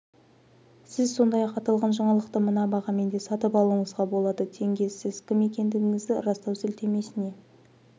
сіз сондай-ақ аталған жаңалықты мына бағамен де сатып алуыңызға болады тенге сіз кім екендігіңізді растау сілтемесіне